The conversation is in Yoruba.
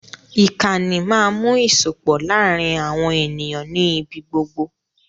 Ìkànì máa ń mú ìsopọ̀ láàrin àwọn ènìyàn nì ibí gbogbo